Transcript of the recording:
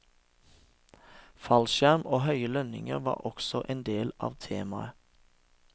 Fallskjerm og høye lønninger var også en del av temaet.